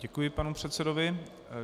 Děkuji panu předsedovi.